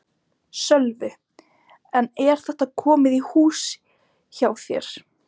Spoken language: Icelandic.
Sölvi: En er þetta komið í hús hjá þér?